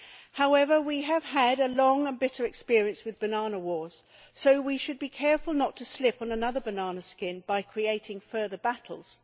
However, we have had long and bitter experience with banana wars, so we should be careful not to slip on another banana skin by creating further battles.